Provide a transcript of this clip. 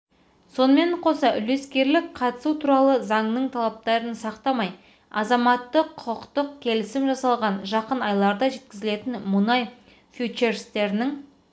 сонымен қоса үлескерлік қатысу туралы заңның талаптарын сақтамай азаматтық-құқықтық келісім жасалған жақын айларда жеткізілетін мұнай фьючерстерінің